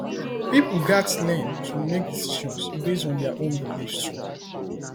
pipo gatz learn to make decisions based on their own beliefs too